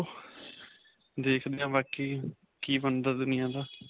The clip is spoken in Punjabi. ਦੇਖਦੇ ਹਾਂ ਬਾਕੀ ਕੀ ਬਣਦਾ ਦੁਨਿਆ ਦਾ.